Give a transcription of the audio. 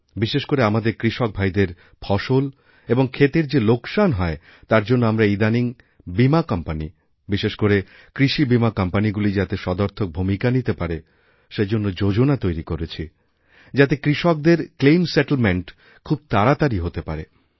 বিশেষ করে আমাদেরকৃষক ভাইদের ফসল এবং ক্ষেতের যে লোকসান হয় তার জন্য আমরা ইদানিং বীমা কোম্পানিবিশেষ করে কৃষি বীমা কোম্পানিগুলি যাতে সদর্থক ভূমিকা নিতে পারে সেজন্য যোজনা তৈরিকরেছি যাতে কৃষকদের ক্লেইমসেটেলমেন্ট খুবতাড়াতাড়ি হতে পারে